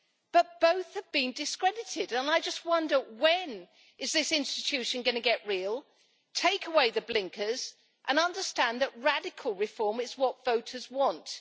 But both have been discredited and I just wonder when is this institution going to get real, take away the blinkers and understand that radical reform is what voters want.